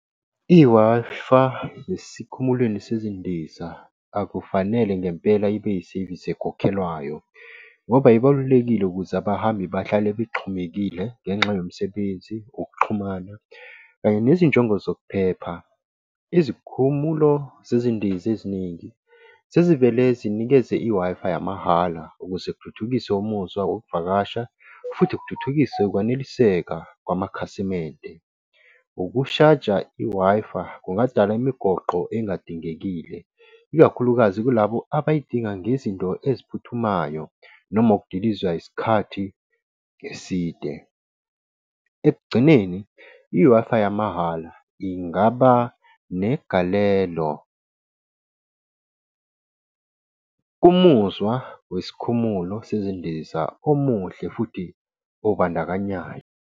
I-Wi-Fi esikhumulweni sezindiza, akufanele ngempela ibe isevisi ekhokhelwayo, ngoba ibalulekile ukuze abahambi bahlale bexhumekile ngenxa yomsebenzi okuxhumana kanye nezinjongo zokuphepha. Izikhumulo zezindiza eziningi sezivele zinikeze i-Wi-Fi yamahhala ukuze kuthuthukiswe umuzwa wokuvakasha futhi kuthuthukiswe ukwaneliseka kwamakhasimende. Ukushaja i-Wi-Fi kungadala imigoqo engadingekile, ikakhulukazi kulabo abayidinga ngezinto eziphuthumayo noma ukudiliza isikhathi eside. Ekugcineni i-Wi-Fi yamahhala ingaba negalelo. Umuzwa wesikhumulo sezindiza omuhle futhi obandakanyayo.